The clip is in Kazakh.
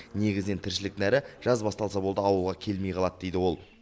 негізінен тіршілік нәрі жаз басталса болды ауылға келмей қалады дейді ол